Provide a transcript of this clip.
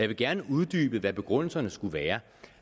vil gerne uddybe hvad begrundelserne skulle være